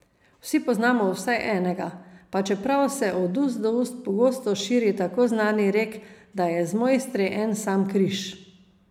Vsi poznamo vsaj enega, pa čeprav se od ust do ust pogosto širi tako znani rek, da je z mojstri en sam križ.